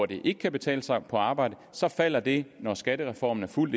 det ikke kan betale sig at arbejde så falder det når skattereformen er fuldt